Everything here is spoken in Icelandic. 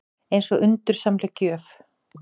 Eins og undursamleg gjöf.